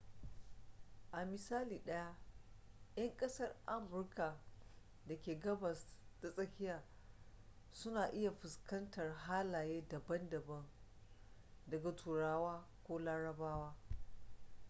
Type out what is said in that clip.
a misali ɗaya 'yan ƙasar amurka da ke gabas ta tsakiya su na iya fuskantar halaye daban daga turawa ko larabawa